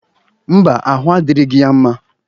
Mba, ahụ adịrịgị ya mma.